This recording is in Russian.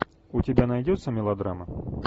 у тебя найдется мелодрама